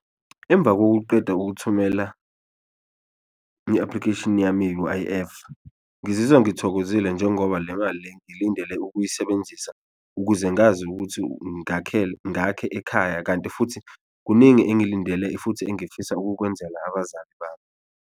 Emva kokuqeda ukuthumela i-application yami ye-U_I_F ngizizwa ngithokozile njengoba le mali le ngilindele ukuyisebenzisa ukuze ngazi ukuthi ngakhe ekhaya kanti futhi kuningi engilindele futhi engifisa ukukwenzela abazali bami.